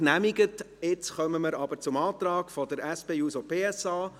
Damit kommen wir zum Antrag der SP-JUSO-PSA.